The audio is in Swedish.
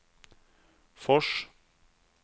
Fors